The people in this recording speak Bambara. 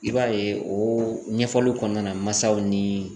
I b'a ye o ɲɛfɔliw kɔnɔna masaw ni